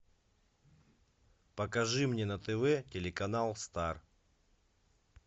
покажи мне на тв телеканал стар